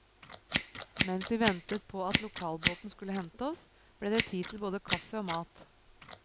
Mens vi ventet på at lokalbåten skulle hente oss, ble det tid til både kaffe og mat.